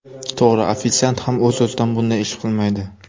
To‘g‘ri, ofitsiant ham o‘z-o‘zidan bunday ish qilmaydi.